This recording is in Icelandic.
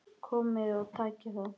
Komiði og takið þá!